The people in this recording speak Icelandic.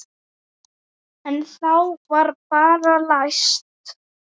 En þá var bara læst.